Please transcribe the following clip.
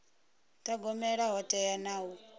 thogomela ho teaho na u